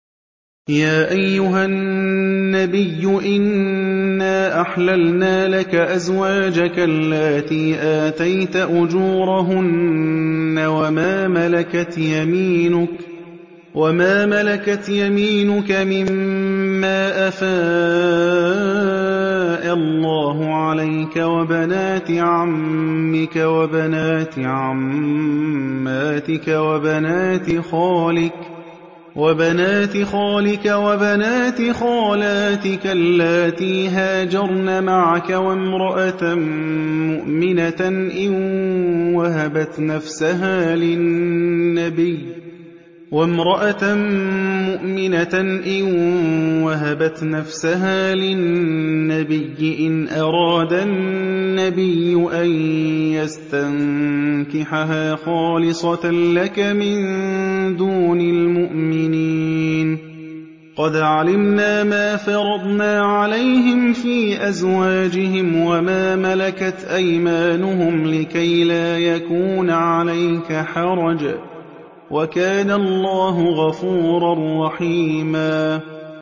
يَا أَيُّهَا النَّبِيُّ إِنَّا أَحْلَلْنَا لَكَ أَزْوَاجَكَ اللَّاتِي آتَيْتَ أُجُورَهُنَّ وَمَا مَلَكَتْ يَمِينُكَ مِمَّا أَفَاءَ اللَّهُ عَلَيْكَ وَبَنَاتِ عَمِّكَ وَبَنَاتِ عَمَّاتِكَ وَبَنَاتِ خَالِكَ وَبَنَاتِ خَالَاتِكَ اللَّاتِي هَاجَرْنَ مَعَكَ وَامْرَأَةً مُّؤْمِنَةً إِن وَهَبَتْ نَفْسَهَا لِلنَّبِيِّ إِنْ أَرَادَ النَّبِيُّ أَن يَسْتَنكِحَهَا خَالِصَةً لَّكَ مِن دُونِ الْمُؤْمِنِينَ ۗ قَدْ عَلِمْنَا مَا فَرَضْنَا عَلَيْهِمْ فِي أَزْوَاجِهِمْ وَمَا مَلَكَتْ أَيْمَانُهُمْ لِكَيْلَا يَكُونَ عَلَيْكَ حَرَجٌ ۗ وَكَانَ اللَّهُ غَفُورًا رَّحِيمًا